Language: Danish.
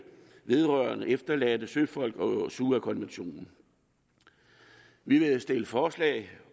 vedrørende efterladte søfolk og sua konventionen vi vil stille forslag